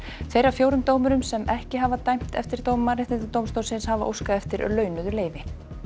tveir af fjórum dómurum sem ekki hafa dæmt eftir dóm Mannréttindadómstólsins hafa óskað eftir launuðu leyfi